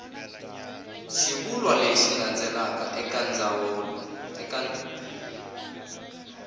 xivulwa lexi landzelaka eka nandzulo